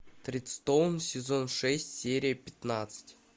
тредстоун сезон шесть серия пятнадцать